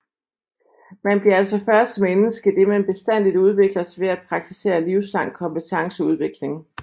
Man bliver altså først menneske idet man bestandigt udvikler sig ved at praktisere livslang kompetenceudvikling